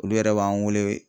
Olu yɛrɛ b'an wele.